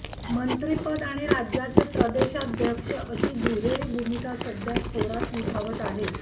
मंत्रीपद आणि राज्याचे प्रदेशाध्यक्ष अशी दुहेरी भूमिका सध्या थोरात निभावत आहेत